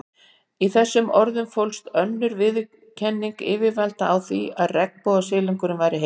Í þessum orðum fólst önnur viðurkenning yfirvalda á því að regnbogasilungurinn væri heilbrigður.